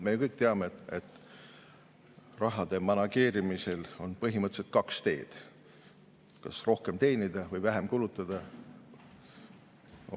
Me kõik teame, et rahade manageerimisel on põhimõtteliselt kaks teed: kas rohkem teenida või vähem kulutada.